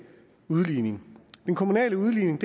udligning den kommunale udligning